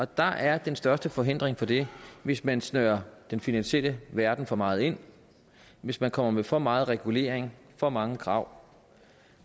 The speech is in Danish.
der er den største forhindring for det hvis man snører den finansielle verden for meget ind hvis man kommer med for meget regulering for mange krav